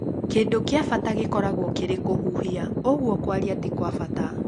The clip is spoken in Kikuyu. Kĩndũ kĩa bata gĩkoragwo kĩrĩ kũhuhia ũguo kwaria ti-kwabata